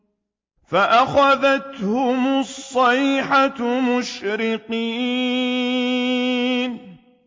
فَأَخَذَتْهُمُ الصَّيْحَةُ مُشْرِقِينَ